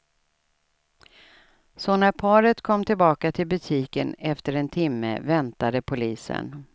Så när paret kom tillbaka till butiken efter en timme väntade polisen.